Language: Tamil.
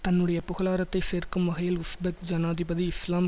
தன்னுடைய புகழாரத்தை சேர்க்கும் வகையில் உஸ்பெக் ஜனாதிபதி இஸ்லாம்